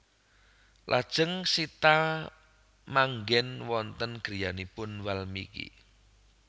Lajeng Sita maanggen wonten griyanipun Walmiki